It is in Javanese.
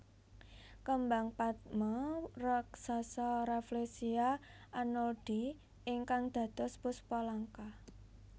Kembang patma raksasa Rafflesia arnoldii ingkang dados Puspa Langka